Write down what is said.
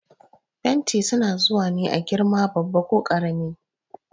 Fenti su na zuwa ne a girma babba ko karami.